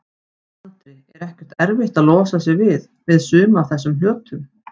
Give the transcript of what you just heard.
Andri: Er ekkert erfitt að losa sig við, við suma af þessum hlutum?